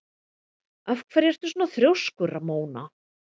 Af hverju ertu svona þrjóskur, Ramóna?